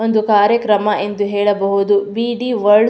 ಒಂದು ಕಾರ್ಯಕ್ರಮ ಎಂದು ಹೇಳಬಹುದು ಬಿ.ಡಿ ವರ್ಡ್ಸ್ --